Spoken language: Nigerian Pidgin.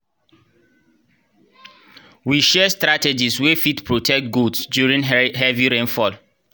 we share strategies wey fit protect goats during heavy rainfall